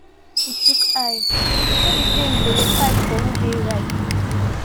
we gree say make we chook eye no be say we go dey fight for who dey right.